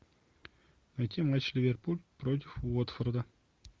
найти матч ливерпуль против уотфорда